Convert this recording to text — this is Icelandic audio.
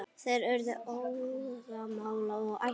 Þeir urðu óðamála og æstir.